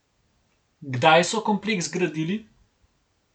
Kdaj so kompleks zgradili?